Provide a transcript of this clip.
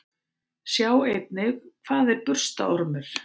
Sjá einnig: Hvað er burstaormur?